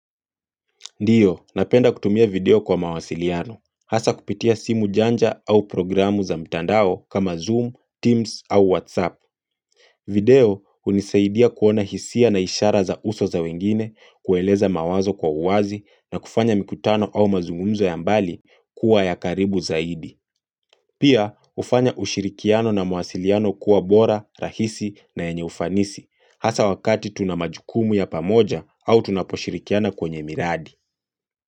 Ndiyo, napenda kutumia video kwa mawasiliano. Hasa kupitia simu janja au programu za mtandao kama Zoom, Teams au WhatsApp. Video unisaidia kuona hisia na ishara za uso za wengine, kueleza mawazo kwa uazi na kufanya mikutano au mazungumzo ya mbali kuwa ya karibu zaidi. Pia, ufanya ushirikiano na mawasiliano kuwa bora, rahisi na enye ufanisi. Hasa wakati tunamajukumu ya pamoja au tunaposhirikiana kwenye miradi.